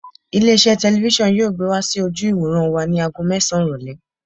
Ilé iṣẹ́ telifísàn yóò gbé wá sí ojú ìwòran wa ni ago mẹ́sàn-án ìrọ̀lẹ́.